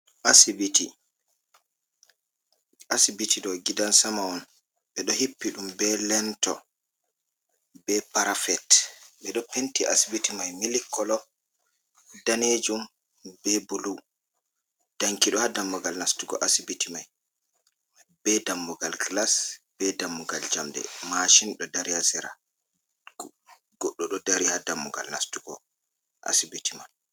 Asibiti ɗo gidan sama on, ɓe ɗo hippi ɗum be lento be parafet .Ɓe ɗo penti asibiti may milikolo, daneejum be bulu danki ɗo haa dammugal nastugo asibiti may ,be dammugal gilas ,be dammugal jamɗe, masin ɗo dari a sera .Goɗɗo ɗo dari haa dammugal nastugo asibiti may.